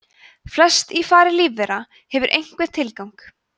flest í fari lífvera hefur einhvern tilgang